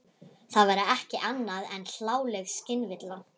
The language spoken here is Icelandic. Það væri ekki annað en hláleg skynvilla.